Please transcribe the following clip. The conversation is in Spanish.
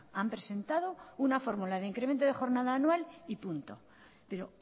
han presentado una fórmula de incremento de jornada anual y punto pero